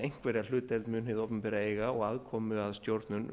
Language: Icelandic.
einhverja hlutdeild mun hið opinbera eiga og aðkomu að stjórnun